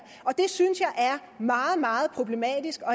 meget meget problematisk og